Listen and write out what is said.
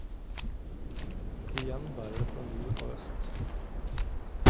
Igjen bærer det nord og øst.